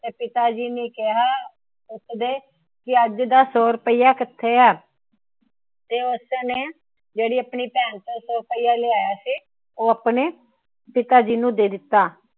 ਤਾ ਪਿਤਾ ਜੀ ਨੇ ਕਿਹਾ ਵੀ ਅੱਜ ਦਾ ਸੋ ਰੁਪਇਆ ਕਿੱਥੇ ਏ? ਤਾਂ ਉਸਨੇ ਜਿਹੜਾ ਆਪਣੀ ਭੈਣ ਕੋਲੋਂ ਸੋ ਰੁਪਇਆ ਲਿਆਇਆ ਸੀ। ਉਹ ਪਿਤਾ ਜੀ ਨੂੰ ਦੇ ਦਿੱਤਾ।